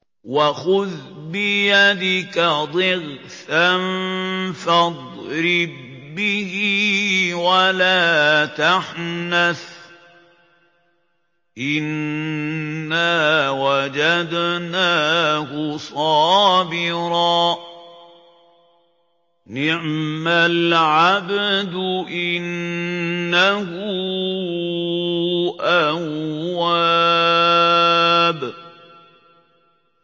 وَخُذْ بِيَدِكَ ضِغْثًا فَاضْرِب بِّهِ وَلَا تَحْنَثْ ۗ إِنَّا وَجَدْنَاهُ صَابِرًا ۚ نِّعْمَ الْعَبْدُ ۖ إِنَّهُ أَوَّابٌ